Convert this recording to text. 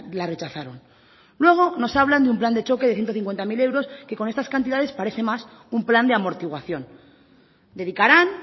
la rechazaron luego nos hablan de un plan de choque de ciento cincuenta mil que con estas cantidades parece más un plan de amortiguación dedicarán